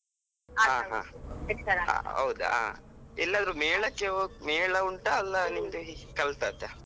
ಹೌದಾ, ಎಲ್ಲಾದ್ರೂ ಮೇಳಕ್ಕೆ~ ಮೇಳ ಉಂಟಾ ಅಲ್ಲ ನಿಮ್ದು ಈ ಕಲ್ತದ್ದ?